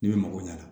Ne bɛ mɔgɔw ɲɛna